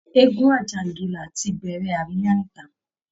Eégún àjàǹgìlá ti bẹ̀rẹ̀ àríyá níta